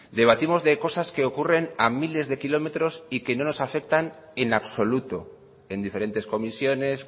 debatimos de cosas que ocurren a miles de kilómetros y que no nos afectan en absoluto en diferentes comisiones